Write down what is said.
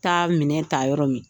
taa minɛ ta yɔrɔ min